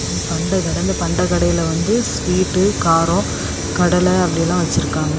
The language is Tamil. பண்ட கெடந்து பண்ட கடைல வந்து ஸ்வீட் காரம் கடலை அப்படி எல்லாம் வச்சிருக்காங்க.